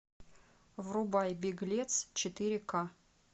врубай беглец четыре ка